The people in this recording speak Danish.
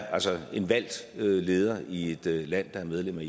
altså er en valgt leder i et land der er medlem